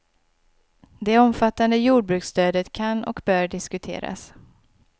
Det omfattande jordbruksstödet kan och bör diskuteras.